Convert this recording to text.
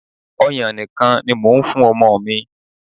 Ọyàn nìkan ni mò ń fún ọmọ mi.